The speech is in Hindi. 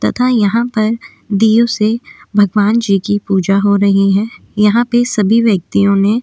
तथा यहाँ पर दीयों से भगवान जी की पूजा हो रही है यहाँ पे सभी व्यक्तियों ने --